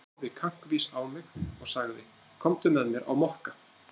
Hann horfði kankvís á mig og sagði: Komdu með mér á Mokka.